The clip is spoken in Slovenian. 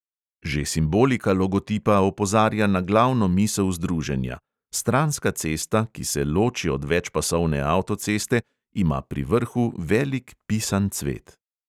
Že simbolika logotipa opozarja na glavno misel združenja: stranska cesta, ki se loči od večpasovne avtoceste, ima pri vrhu velik pisan cvet.